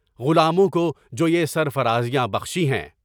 غلاموں کو جو یہ سرفرازیاں بخشی ہیں،